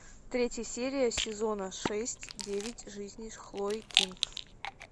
третья серия сезона шесть девять жизней хлои кинг